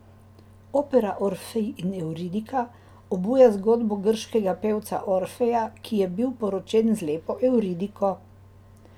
Opera Orfej in Evridika obuja zgodbo grškega pevca Orfeja, ki je bil poročen z lepo Evridiko.